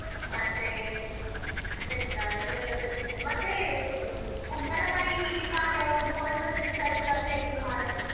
ಮತ್ತೇ ಮತ್ತೆಂತಾ ಇದೆಲ್ಲ ಬೆಳ್ದಿದ್ದಾರೆ ಮತ್ತೆ ಹ್ಮ್ ಕುಂಬಳಕಾಯಿ ಹೀಗೆಕಾಲಿ ಯಾವ್ದೊಂದು ಕೊಳ್ತದ್ದು ಬಿಸಾಡಿದ್ದು ಅದೆ ಸುಮಾರಾಗಿದೆ.